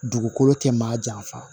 Dugukolo tɛ maa janfa